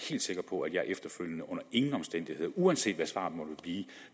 helt sikker på at jeg efterfølgende under ingen omstændigheder uanset hvad svaret måtte blive